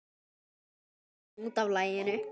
Illa sleginn út af laginu.